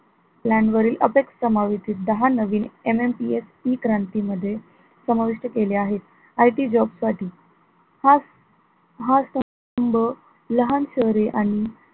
plan वरील समावतीत दहा नवीन MNPSE क्रांती मध्ये समाविष्ट केले आहे IT job साठी हा हा स्तंभ लहान शहरे आणि